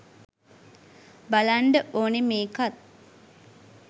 බලන්ඩ ඕනෙ මේකත්